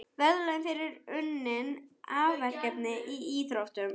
Verðlaun fyrir unnin afrek í íþróttum.